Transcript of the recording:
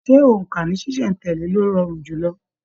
Ṣe óńka ní ṣiṣẹ̀ n tẹ̀lé ló rọrùn jùlọ?